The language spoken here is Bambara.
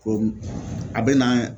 Ko a bɛ na